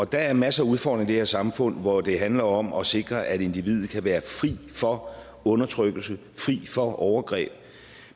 der er en masse udfordringer i det her samfund hvor det handler om at sikre at individet kan være fri for undertrykkelse fri for overgreb